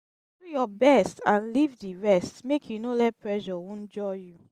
do yur best nd lif di rest mek yu no let pressure wonjur yu